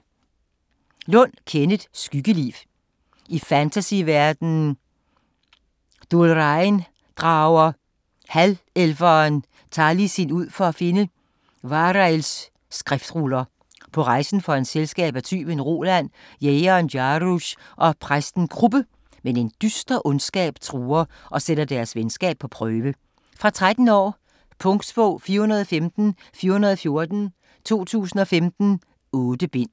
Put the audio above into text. Lund, Kenneth: Skyggeliv I fantasyverdenen Duhlraen drager halvelveren Talisin ud for at finde Wahreils skriftruller. På rejsen får han selskab af tyven Roland, krigeren Jaruz og præsten Kruppe, men en dyster ondskab truer og sætter deres venskab på prøve. Fra 13 år. Punktbog 415414 2015. 8 bind.